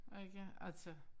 Ikke altså